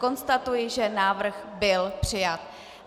Konstatuji, že návrh byl přijat.